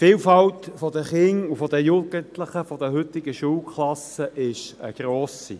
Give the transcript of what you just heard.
– Die Vielfalt der Kinder und Jugendlichen in den heutigen Schulklassen ist gross.